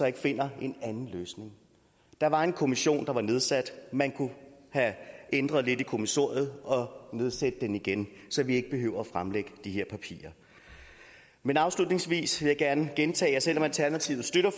ikke finder en anden løsning der var en kommission der var nedsat man kunne ændre lidt i kommissoriet og nedsætte den igen så vi ikke behøver fremlægge de her papirer men afslutningsvis vil jeg gerne gentage at selv om alternativet støtter